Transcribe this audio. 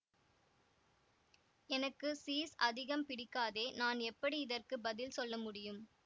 எனக்கு சீஸ் அதிகம் பிடிக்காதே நான் எப்படி இதற்கு பதில் சொல்ல முடியும்